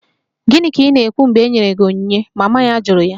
Gịnị ka ị na-ekwu mgbe e nyere gị onyinye? Mama ya jụrụ ya